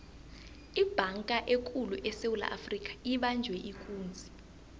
ibhanga ekulu esewula afrika ibanjwe ikunzi